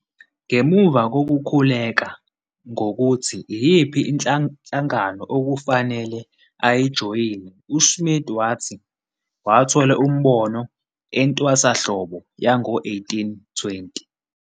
Ngemuva kokukhuleka ngokuthi iyiphi inhlangano okufanele ayijoyine, uSmith wathi wathola umbono entwasahlobo yango-1820.